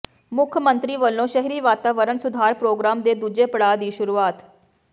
ਮੁੱਖ ਮੰਤਰੀ ਵਲੋਂ ਸ਼ਹਿਰੀ ਵਾਤਾਵਰਣ ਸੁਧਾਰ ਪ੍ਰੋਗਰਾਮ ਦੇ ਦੂਜੇ ਪੜਾਅ ਦੀ ਸ਼ੁਰੂਆਤ